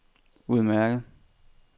udmærket